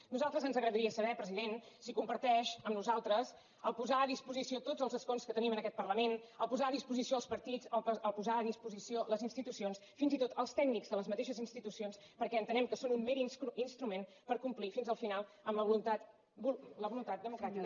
a nosaltres ens agradaria saber president si comparteix amb nosaltres el fet de posar a disposició tots els escons que tenim en aquest parlament posar a disposició els partits posar a disposició les institucions fins i tot els tècnics de les mateixes institucions perquè entenem que són un mer instrument per complir fins al final la voluntat democràtica